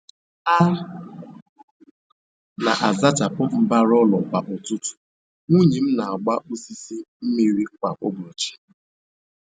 A n'azachapụ mbara ụlọ kwa ụtụtụ, nwunye m n'agba osisi mmiri kwa ụbọchị